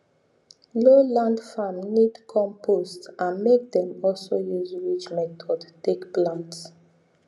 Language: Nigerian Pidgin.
low land farm need compost and make dem also use ridge method take plant